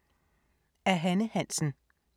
Af Hanne Hansen